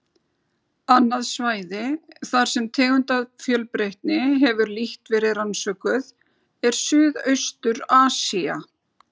Annað svæði, þar sem tegundafjölbreytni hefur lítt verið rannsökuð, er Suðaustur-Asía.